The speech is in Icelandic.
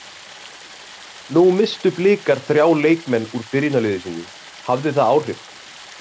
Nú misstu Blikar þrjá leikmenn úr byrjunarliði sínu, hafði það áhrif?